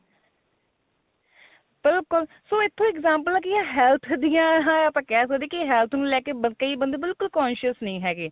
ਬਿਲਕੁਲ ਸੋ ਇੱਥੋ example health ਦੀਆ ਤਾਂ ਕਹਿ ਸਕਦੇ health ਨੂੰ ਲੈ ਕੇ ਕਈ ਬੰਦੇ ਬਿਲਕੁਲ conscious ਨਹੀਂ ਹੈਗੇ